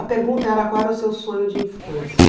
A pergunta era qual era o seu sonho de infância.